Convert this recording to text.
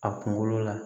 A kunkolo la